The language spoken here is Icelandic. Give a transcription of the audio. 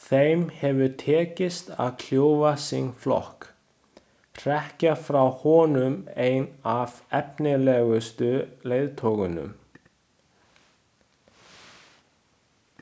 Þeim hefur tekist að kljúfa sinn flokk, hrekja frá honum einn af efnilegustu leiðtogunum.